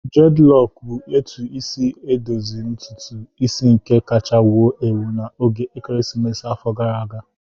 Dreadlocks bụ etu esi edozi ntutu isi nke kacha wụo ewu na oge ekeresimesi afọ gara agaa